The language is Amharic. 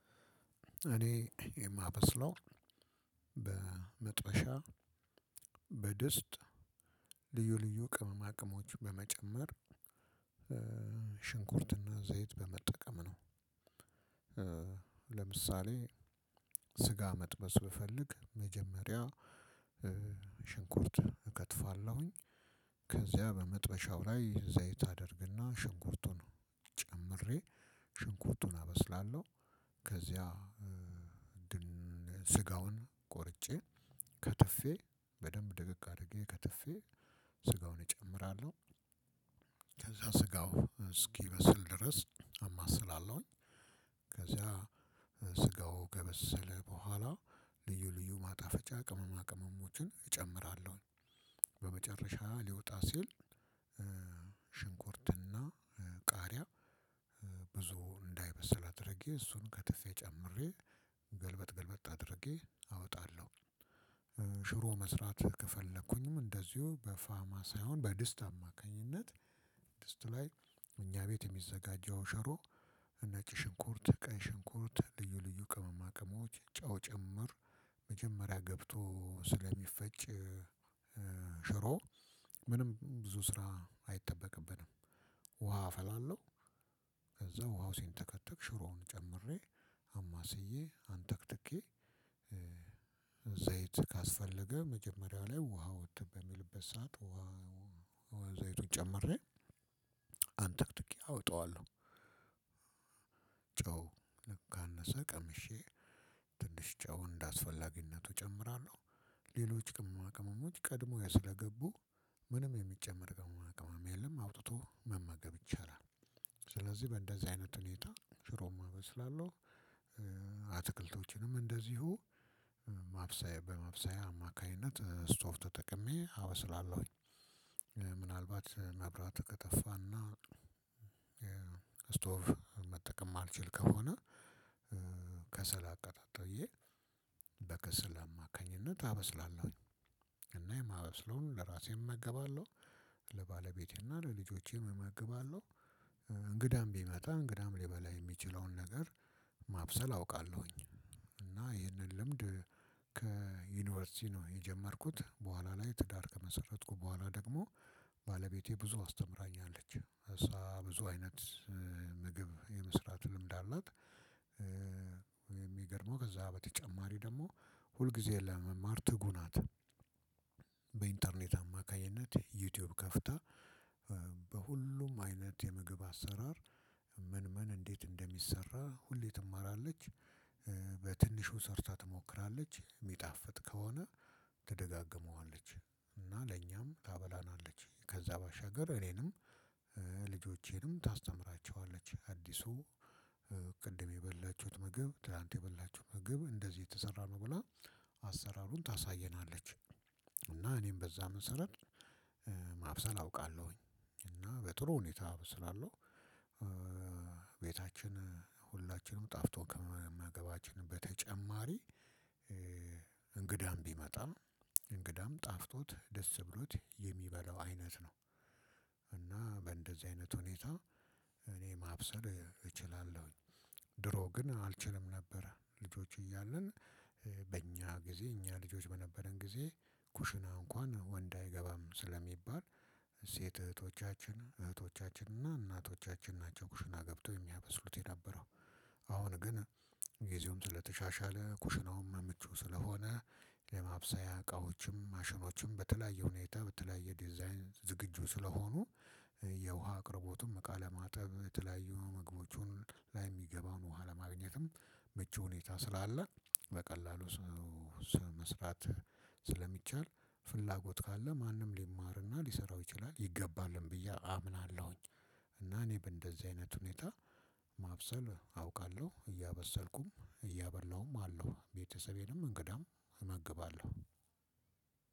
እኔ የማበስለው በመጥበሻ በድስት ልዩ ልዩ ቅመማ ቅመሞች በመጨመር ሽንኩርትና ዘይት በመጠቀም ነው። ለምሳሌ ስጋ መጥበስ ብፈልግ መጀመሪያ ሽንኩርት እከትፋለሁኝ ከዚያ በመጥበሻው ላይ ዘይት አድርግና ሽንኩርቱን ጨምሬ ሽንኩርቱን አበስላለሁ። ከዚያ ስጋውን ቆርጬ ከትፌ በደንብ ድቅቅ አድርጌ ከትፌ ስጋውን እጨምራለሁ ከዛ ስጋው እስኪበስል ድረስ አማስላለሁኝ ከዛ ስጋው ከበሰለ በኋላ ልዩ ልዩ ማጣፈጫ ቅመማ ቅመሞችን እጨምራለሁ። በመጨረሻ ሊወጣ ሲል ሽንኩርትና ቃሪያ ብዙ እንዳይበስል አድርጌ እሱን ከትፌ ጨምሬ ገልበጥ ገልበጥ አድርጌ አወጣለሁ። ሽሮ መስራት ከፈለኩኝም እንደዚሁ በፋማ ሳይሆን በድስት አማካኝነት ድስጡ ላይ እኛ ቤት የሚዘጋጀው ሸሮ እነጭ ሽንኩርት ቀን ሽንኩርት ልዩ ልዩ ቅመማ ቅመሞች ጨው ጭምር መጀመሪያ ገብቶ ስለሚፈጭ ሽሮ ምንም ብዙ ስራ አይጠበቅብንም ውሃ አፈላለሁ። ከዛ ውሃው ሲንተከተክ ሽሮውን ጨምሬ አማስዬ አንተክትኬ ዘይት ካስፈለገ መጀመሪያው ላይ ውሃው እንትን በሚልበት ሰዓት ውሃ ዘይቱን ጨምሬ አንተክትኬ አወጣዋለሁ ጨው ካነሰ ቀምሼ ትንሽ ጨው እንደአስፈላጊነቱ ጨምራለሁ። ሌሎች ቅመማ ቅመሞች ቀድሞ ስለገቡ ምንም የሚጨመር ቅመማ ቅመም የለም አውጥቶ መመገብ ይቻላል። ስለዚህ በእንደዚህ አይነት ሁኔታ ሽሮም እበስላለሁ አትክልቶችንም እንደዚሁ ማብሳያ በማብሳያ አማካኝነት ስቶቭ ተጠቅሜ አበስላለሁኝ ምናልባት መብራት ከጠፋና ስቶቭ መጠቀም እማልችል ከሆነ ከሰል አቀጣጥዬ በከሰል አማካኝነት አበስላለሁኝ። እና የማበስለውን ለራሴ እመገባለሁ ለባለቤቴ እና ለልጆቼ እመግባለሁ። እንግዳም ቢመጣ እንግዳም ሊበላ የሚችለውን ነገር ማብሰል አውቃለሁኝ። እና ይህንን ልምድ ከዩኒቨርሲቲ ነው የጀመርኩት በኋላ ላይ ትዳር ከመሰረትኩ በኋላ ደግሞ ባለቤቴ ብዙ አስተምራኛለች እሷ ብዙ አይነት ምግብ የመስራት ልምድ አላት የሚገርመው ከዛ በተጨማሪ ደግሞ ሁልጊዜ ለመማር ትጉህ ናት። በኢንተርኔት አማካኝነት ዩቲዩብ ከፍታ በሁሉም አይነት የምግብ አሰራር ምን ምን እንዴት እንደሚሰራ ሁሌ ትማራለች በትንሹ ሰርታ ትሞክራለች የሚጣፍጥ ከሆነ ትደጋግመዋለች እና ለእኛም ታበላናለች ከዛ ባሻገር እኔንም ልጆቼንም ታስተምራቸዋለች አዲሱ ቅድም የበላችሁት ምግብ ትላንት የበላችሁት ምግብ እንደዚህ የተሰራ ነው ብላ አሰራሩን ታሳየናለች እና እኔም በዛ መሰረት ማብሰል አውቃለሁኝ እና በጥሩ ሁኔታ ስላለው ቤታችን ሁላችንም ጣፍጦ ከማገባችን በተጨማሪ እንግዳም ቢመጣም እንግዳም ጣፍጦት ደስ ብሎት የሚበላው አይነት ነው። እና በእንደዚህ አይነት ሁኔታ ማብሰል እችላለሁኝ። ድሮ ግን አልችልም ነበረ ልጆች እያለን በእኛ ጊዜ እኛ ልጆች በነበርን ጊዜ ኩሽና እንኳን ወንድ አይገባም ስለሚባል ሴት እህቶቻችን እህቶቻችን እና እናቶቻችን ናቸው ኩሽና ገብተው የሚያበስሉት የነበረው አሁን ግን ጊዜውም ስለተሻሻለ ኩሽናውም ምቹ ስለሆነ ለማብሰያ እቃዎችም ማሽኖችም በተለያዩ ሁኔታ በተለያዩ ዲዛይን ዝግጁ ስለሆኑ የውሃ አቅርቦትም እቃ ለማጠብ በተለያዩ ምግቦቹን የሚገባውን ውሃ ለማግኘትም ምቹ ሁኔታ ስላለ በቀላሉ ሰው መስራት ስለሚቻል ፍላጎት ካለ ማንም ሊማርና ሊሰራው ይችላል ይገባልን ብዬ አምናለሁኝ። እና እኔ በእንደዚህ አይነት ሁኔታ ማብሰል አውቃለሁ። እያበሰልኩም እያበላሁም አለው ቤተሰቤንም እንግዳም እመግባለሁ